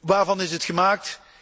waarvan is het gemaakt?